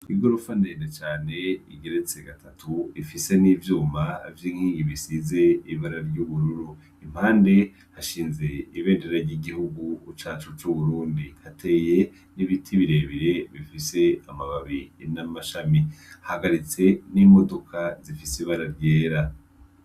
Igorofa ndende cane igeretse gatatu, rifise n'ivyuma, vy'inkingi bisize ibara ry'ubururu ,impande hashinze ibendera ry'igihugu cacu c'uburundi, hateye n'ibiti birebire bifise amababi n'amashami, hahagaritse n'imodoka zifise ibara ryera.